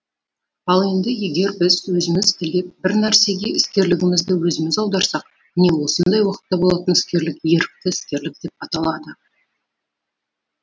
ал енді егер біз өзіміз тілеп бір нәрсеге іскерлігімізді өзіміз аударсақ міне осындай уақытта болатын іскерлік ерікті іскерлік деп аталады